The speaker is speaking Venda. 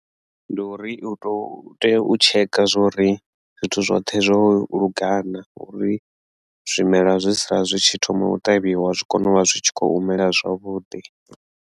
Ndi uri u to tea u tsheka zwori zwithu zwoṱhe zwo lungana uri zwimela zwi tshi sala zwi tshi thoma u ṱavhiwa zwi kone u vha zwi tshi kho u mela zwavhuḓi.